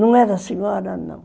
Não era senhora, não.